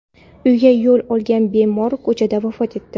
uyiga yo‘l olgan bemor ko‘chada vafot etdi.